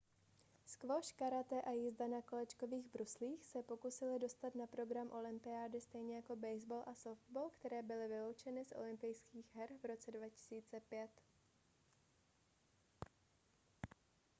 squash karate a jízda na kolečkových bruslích se pokusily dostat na program olympiády stejně jako baseball a softball které byly vyloučeny z olympijských her v roce 2005